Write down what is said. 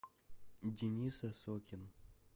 денис осокин